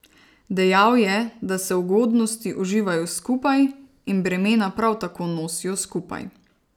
Dejal je, da se ugodnosti uživajo skupaj in bremena prav tako nosijo skupaj.